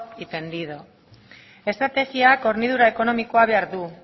y tendido estrategiak hornidura ekonomia behar du